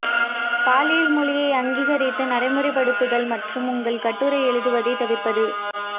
பாலியல் மொழியை அங்கீகரித்து நடைமுறைப்படுத்துதல் மற்றும் உங்கள் கட்டுரை எழுதுவதைத் தவிர்ப்பது